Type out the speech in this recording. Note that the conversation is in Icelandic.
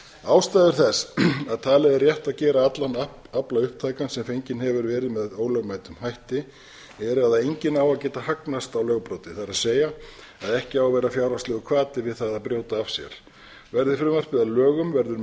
ástæður þess að talað er rétt að gera allan afla upptækan sem fenginn hefur verið ólögmætum hætti er að enginn á að geta hagnast á lögbroti það er að ekki á að vera fjárhagslegur hvati við það að brjóta af sér verði frumvarpið að lögum verður